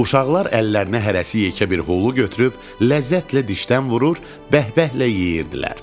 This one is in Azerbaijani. Uşaqlar əllərinə hərəsi yekə bir holu götürüb ləzzətlə dişdən vurur, bəhbəhlə yeyirdilər.